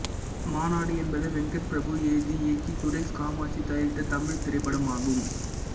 மாநாடு என்பது வெங்கட் பிரபு எழுதி இயக்கி சுரேஷ் காமாட்சி தயாரித்த தமிழ்த் திரைப்படம் ஆகும்